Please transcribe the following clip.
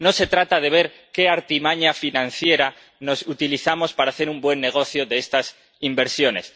no se trata de ver qué artimaña financiera utilizamos para hacer un buen negocio de estas inversiones.